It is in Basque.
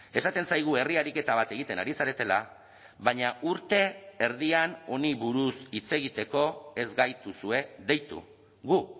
esaten zaigu herri ariketa bat egiten ari zaretela baina urte erdian honi buruz hitz egiteko ez gaituzue deitu gu